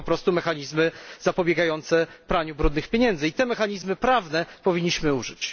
To są po prostu mechanizmy zapobiegające praniu brudnych pieniędzy. Tych mechanizmów prawnych powinniśmy użyć.